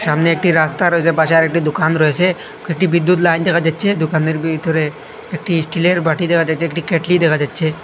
সামনে একটি রাস্তা রয়েসে পাশে আরেকটি দুকান রয়েসে কয়েকটি বিদ্যুৎ লাইন দেখা যাচ্ছে দুকানের ভিতরে একটি স্টিলে র বাটি দেখা যাচ্ছে একটি কেটলি দেখা যাচ্ছে।